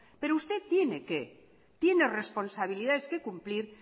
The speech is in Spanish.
pero usted tiene responsabilidades que cumplir